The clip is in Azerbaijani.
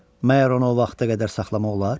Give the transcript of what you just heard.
məgər onu o vaxta qədər saxlamaq olar?